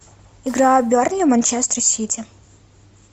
игра бернли манчестер сити